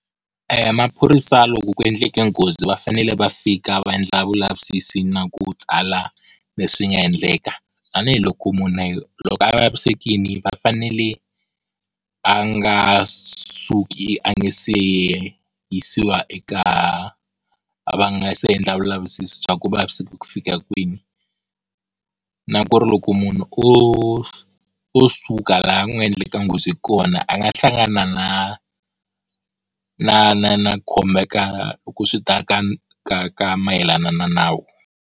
Maphorisa loko ku endleke nghozi va fanele va fika va endla vulavisisi na ku tsala leswi nga endleka, tanihiloko munhu loko a vavisekile va fanele a nga suki a nga se yisiwa eka, va nga se endla vulavisisi bya ku u vaviseki ku fika kwini, na ku ri loko munhu o suka laha ku nga endleka nghozi kona a nga hlangana na na na na khomeka loko swi ta ka ka ka mayelana na nawu.